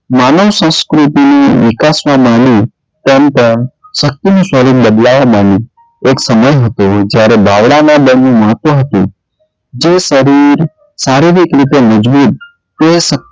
માનવ સંસ્કૃતિ વિકાસના બહાને શક્તિનું સ્વરૂપ બદલાવા માંડ્યું એક સમય હતો જયારે બાવળાના મહત્વ હતું જે શરીર શારીરિક રીતે મૂંજવી તે,